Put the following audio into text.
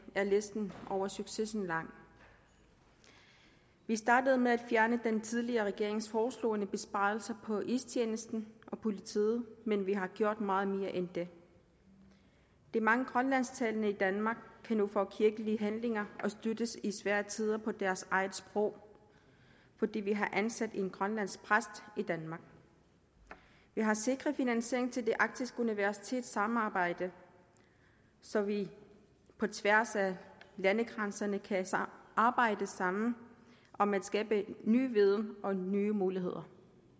er listen over succeser lang vi startede med at fjerne den tidligere regerings hårdtslående besparelser på istjenesten og politiet men vi har gjort meget mere end det de mange grønlandsktalende i danmark kan nu få kirkelige handlinger og kan støttes i svære tider på deres eget sprog fordi vi har ansat en grønlandsk præst i danmark vi har sikret finansieringen til det arktiske universitets samarbejde så vi på tværs af landegrænserne kan arbejde sammen om at skabe ny viden og nye muligheder